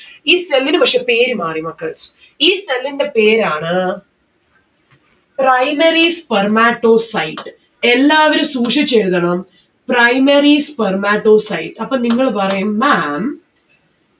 ഈ cell ന് പക്ഷെ പേര് മാറി മക്കൾ. ഈ cell ന്റെ പേരാണ് Primary spermatocyte എല്ലാവരും സൂക്ഷിച്ചെഴുതണം Primary spermatocyte. അപ്പം നിങ്ങള് പറയും ma'am